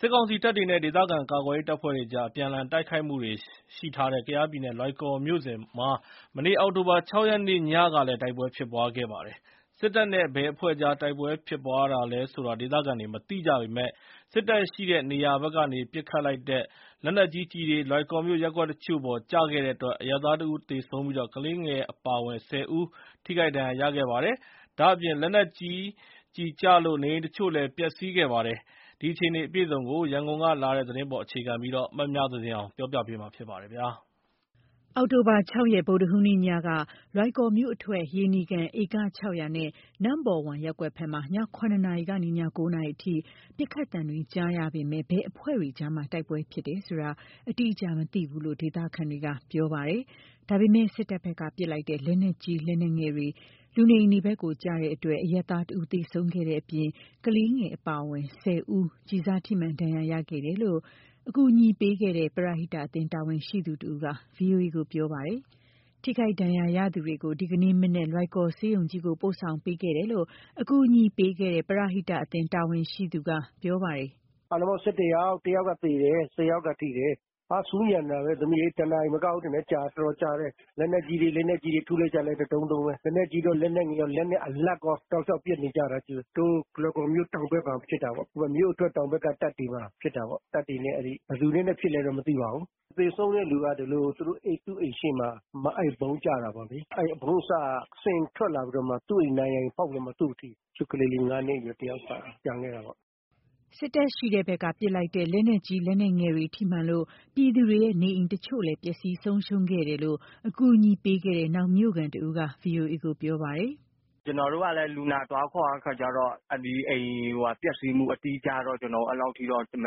စစ်ကောင်စီတပ်တွေနဲ့ ဒေသခံကာကွယ်ရေးအဖွဲ့တွေကြား အပြန်အလှန်တိုက်ခိုက်မှုတွေရှိထားတဲ့ ကယားပြည်နယ်၊ လွိုင်ကော်မြို့စွန်မှာ မနေ့ အောက်တိုဘာ ၆ ရက်နေ့ညကလည်း တိုက်ပွဲဖြစ်ခဲ့ပါတယ်။ စစ်တပ်နဲ့ ဘယ်အဖွဲ့ကြား တိုက်ပွဲဖြစ်တာလဲဆိုတာ ဒေသခံတွေမသိကြပေမယ့် စစ်တပ်ရှိတဲ့နေရာဘက်ကနေ ပစ်ခတ်လိုက်တဲ့ လက်နက်ကြီးကျည်တွေ လွိုင်ကော်မြို့ ရပ်ကွက်တချို့အပေါ် ကျခဲ့တဲ့အတွက် အရပ်သားတဦးသေဆုံးပြီး ကလေးငယ်အပါအဝင် ၁၀ ဦး ထိခိုက်ဒဏ်ရာရရှိခဲ့ပါတယ်။ ဒါ့အပြင် လက်နက်ကြီးကျလို့ နေအိမ်တချို့လည်း ပျက်စီခဲ့ပါတယ်။ ဒီအခြေအနေအပြည့်အစုံ ရန်ကုန် က လာတဲ့သတင်းကို မမြသဇင်အောင်က ပြောပြပါမယ်။ အောက်တိုဘာ ၆ ရက် ဗုဒ္ဓဟူးနေ့ညက လွိုင်ကော်မြို့အထွက် ရေနီကန်၊ ဧက ၆၀၀ နဲ့ နမ့်ဘော်ဝမ်ရပ်ကွက်ဘက်မှာ ည ၇ နာရီကနေ ည ၉ နာရီအထိ ပစ်ခတ်သံတွေကြားရပေမဲ့ ဘယ်အဖွဲ့တွေကြား တိုက်ပွဲဖြစ်တယ်ဆိုတာ အတိအကျမသိဘူးလို့ ဒေသခံတွေက ပြောပါတယ်။ ဒါပေမဲ့ စစ်တပ်ဘက်ကပစ်လိုက်တဲ့ လက်နက်ကြီး၊ လက်နက်ငယ်ကျည်တွေ လူနေအိမ်ဘက်ကျလို့ အရပ်သားတဦးသေဆုံးခဲ့တဲ့အပြင် ကလေးငယ်အပါအဝင် ၁၀ ဦး ကျည်စထိမှန် ဒဏ်ရာရခဲ့တယ်လို့ အကူအညီပေးခဲ့တဲ့ ပရဟိတအသင်းတာဝန်ရှိသူတဦးက VOA ကို ပြောပါတယ်။ ထိခိုက်ဒဏ်ရာရသူတွေကို ဒီနေ့မနက် လွိုင်ကော်ဆေးရုံကြီးကို ပို့ဆောင်ပေးခဲ့တယ်လို့အကူအညီပေးခဲ့တဲ့ ပရဟိတအသင်းတာဝန်ရှိသူက ပြောပါတယ်။ “အားလုံးပေါင်း ၁၁ ယောက်၊ တယောက်ကသေတယ်၊ ၁၀ ယောက်ကထိတယ်၊ ဟာ… ဆူညံနေတာပဲ တနာရီမကဘူး ထင်တယ်၊ ကြာတယ်၊ တော်တော်ကြာတယ်။ လက်နက်ကြီးတွေ လက်နက်ကြီးတွေ ထုလိုက်ကြတာ တဒုန်းဒုန်းပဲ၊ လက်နက်ကြီးရော လက်နက်ငယ်ရော လက်နက်အလတ်ကော တောက်လျှောက်ပစ်နေကြတာ။ တို့လွိုင်ကော်မြို့တောင်ဘက်မှာ ဖြစ်တာပေ့ါ၊ မြို့အထွက်တောင်ဘက်က တပ်တွေမှာဖြစ်တာပေ့ါ၊ တပ်တွေနဲ့ ဘယ်သူတွေနဲ့ ဖြစ်လဲတော့ မသိပါဘူး။ သေဆုံးတဲ့လူက ဒီလို သူတို့အိမ်ရှေ့မှာ အဲ့ဗုံးကျတာပေါ့လေ။ အဲ့ဒီဗုံးအစက စင်ထွက်လာပြီးတော့မှ သူ့အိမ်နံရံပေါက်ပြီးတော့ သူ့ကိုထိတာ၊ သူ့ကလေး ၅ နှစ်အရွယ် တယောက်က ကျန်ခဲ့တာပေါ့။” စစ်တပ်ရှိတဲ့ဘက်ကပစ်လိုက်တဲ့ လက်နက်ကြီး လက်နက်ငယ်တွေထိမှန်လို့ ပြည်သူတွေရဲ့ နေအိမ် တချို့လည်း ပျက်စီးဆုံးရှုံးခဲ့တယ်လို့ အကူအညီပေးခဲ့တဲ့ နောက်မြို့ခံတဦးက VOA ကို ပြောပါတယ်။ “ကျနော်တို့ကလည်း လူနာသွားခေါ်တဲ့အခါကျတော့ အဲ့ဒီအိမ်ပျက်စီးမှု အတိအကျတော့ ကျနော်တို့ အဲ့လောက်ထိတော့ မ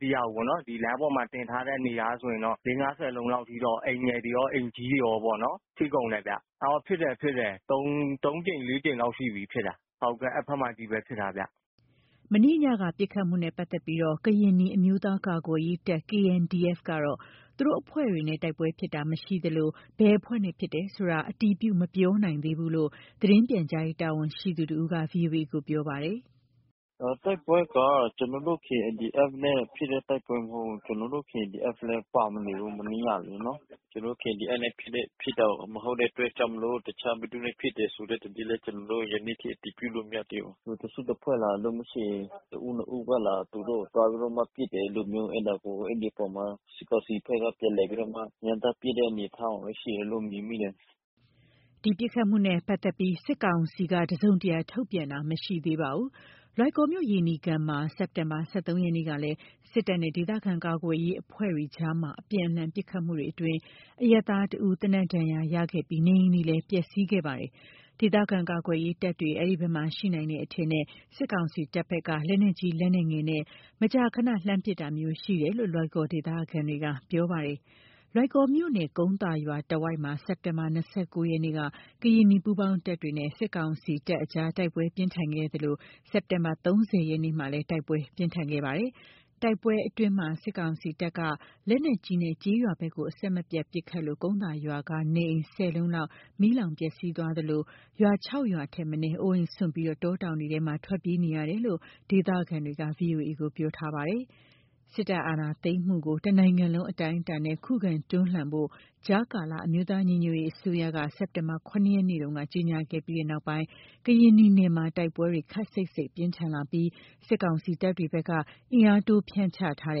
သိရဘူးပေါ့နော်၊ ဒီလိုင်းပေါ်မှာထင်ထားတဲ့ နေရာကဆိုရင်တော့ ၄၊ ၅၊ ၁၀ လုံးလောက်အထိတော့ အိမ်ငယ်တွေရော အိမ်ကြီးတွေရောပေါ့နော် ထိကုန်တယ်ဗျ၊ ဖြစ်တယ် ဖြစ်တယ်။ သုံးကြိမ် လေးကြိမ်လောက်ရှိပြီ- ဖြစ်တာ။ ဟုတ်ကဲ့ အဲ့ဘက်မှာချည့်ပဲဖြစ်တာဗျ။” မနေ့ညက ပစ်ခတ်မှုနဲ့ပတ်သက်လို့ ကရင်နီ အမျိုးသားကာကွယ်ရေးတပ် ကတော့ သူတို့ အဖွဲ့တွေနဲ့ တိုက်ပွဲဖြစ်တာမရှိသလို ဘယ်အဖွဲ့နဲ့ ဖြစ်တယ်ဆိုတာလဲ အတည်ပြု မပြောနိုင်သေးဘူးလို့ သတင်းပြန်ကြားရေးတာဝန်ရှိသူတဦးက VOA ကို ပြောပါတယ်။ “တိုက်ပွဲက ကျနော်တို့ KNDF နဲ့ ဖြစ်တဲ့ တိုက်ပွဲမဟုတ်ဘူး။ ကျနော်တို့ KNDF လည်း ပါမနေဘူး။ မနေ့ညကလေနော်၊ ကျနော်တို့KNDF နဲ့ ဖြစ်တာမဟုတ်တဲ့အတွက်ကြောင့်မို့လို့ တခြားဘယ်သူနဲ့ ဖြစ်တယ်ဆိုတဲ့ သတင်းလည်း ကျနော်တို့ ယနေ့ထိအတည်ပြုလို့ မရသေးဘူး၊ တစုတဖွဲ့လား၊ မဟုတ်လို့ရှိရင် တဦး နှစ်ဦးကလား။ သူတို့ကို သွားပြီးတော့မှပစ်တယ်။ အဲ့လိုမျိုး အဲ့ဒါကို အဲ့ဒီအပေါ် စစ်ကောင်စီဘက်က ပြန်လည်ပြီးတော့မှ ရမ်းသမ်းပစ်တဲ့အနေအထားမှာပဲ ရှိတယ်လို့ မြင်မိတယ်။” ဒီပစ်ခတ်မှုနဲ့ ပတ်သက်ပြီး စစ်ကောင်စီက တစုံတရာထုတ်ပြန်တာ မရှိသေးပါဘူး။ လွိုင်ကော်မြို့ ရေနီကန်မှာ စက်ဘာတင် ၁၃ ရက်နေ့ကလည်းစစ်တပ်နဲ့ ဒေသခံကာကွယ်ရေးအဖွဲ့တွေကြား အပြန် အလှန်ပစ်ခတ်မှုတွေအတွင်း အရပ်သားတယောက် သေနတ်ဒဏ်ရာရခဲ့ပြီး နေအိမ်တွေလည်း ပျက်စီးခဲ့ပါတယ်။ ဒေသခံကာကွယ်ရေးတပ်တွေ အဲဒီဘက်မှာ ရှိနိုင်တယ်အထင်နဲ့ စစ်ကောင်စီတပ် ဘက်က လက်နက်ကြီး လက်နက်ငယ်နဲ့ မကြာမကြာ လှမ်းပစ်တာမျိုးရှိတယ်လို့ လွိုင်ကော်ဒေသခံတွေက ပြောကြပါတယ်။ လွိုင်ကော်မြို့နယ်၊ ကုန်းသာရွာတဝိုက်မှာ စက်တင်ဘာ ၂၉ ရက်က ကရင်နီပူးပေါင်းတပ်တွေနဲ့ စစ်ကောင်စီတပ်အကြား တိုက်ပွဲပြင်းထန်ခဲ့သလို စက်တင်ဘာလ ၃၀ ရက်နေ့မှာလည်း တိုက်ပွဲ ပြင်းထန်ခဲ့ပါတယ်။ တိုက်ပွဲအတွင်းမှာ စစ်ကောင်စီတပ်က လက်နက်ကြီးနဲ့ ကျေးရွာဘက်ကို အဆက်မပြတ်ပစ် ခတ်လို့ ကုန်းသာရွာက နေအိမ် ၁၀ လုံးလောက် မီးလောင်ပျက်စီးသွားသလို ရွာ ၆ ရွာထက်မနည်း အိုးအိမ်စွန့်ပြီး တောတောင်ထဲ ထွက်ပြေးနေကြရတယ်လို့ ဒေသခံတွေက VOA ကို ပြောထားပါတယ်။ စစ်တပ်အာဏာသိမ်းမှုကို တနိုင်ငံလုံးအတိုင်းအတာနဲ့ ခုခံတွန်းလှန်ဖို့ ကြားကာလ အမျိုးသားညီညွတ်ရေးအစိုးရက စက်တင်ဘာလ ၇ ရက်နေ့မှာ ကြေညာခဲ့ပြီးတဲ့နောက်ပိုင်း ကရင်နီနယ်မှာ တိုက်ပွဲတွေ ခပ်စိတ်စိတ် ပြင်းထန်လာပြီး စစ်ကောင်စီတပ်တွေဘက်က အင်အားတိုး ဖြန့်ချထားတ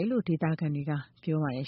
ယ်လို့ ဒေသခံတွေက ပြောပါတယ်